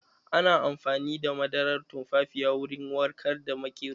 Ana amfani da madarar tumfafiya wurin warkar da maƙero.